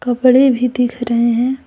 कपड़े भी दिख रहे हैं।